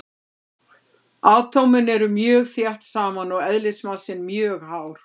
Atómin eru mjög þétt saman og eðlismassinn mjög hár.